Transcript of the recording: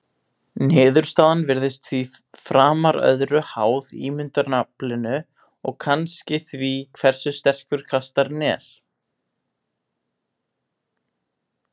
Niðurstaðan virðist því framar öðru háð ímyndunaraflinu og kannski því hversu sterkur kastarinn er.